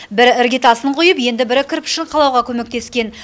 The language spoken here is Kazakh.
бірі іргетасын құйып енді бірі кірпішін қалауға көмектескен